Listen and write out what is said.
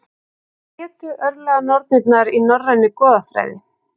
Hvað hétu örlaganornirnar í norrænni goðafræði?